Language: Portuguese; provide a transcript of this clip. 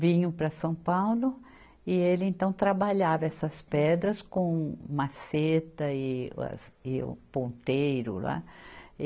Vinham para São Paulo e ele então trabalhava essas pedras com maceta e as, e o ponteiro lá. e